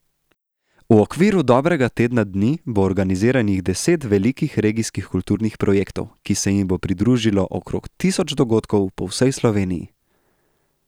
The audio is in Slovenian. V okviru dobrega tedna dni bo organiziranih deset velikih regijskih kulturnih projektov, ki se jim bo pridružilo okrog tisoč dogodkov po vsej Sloveniji.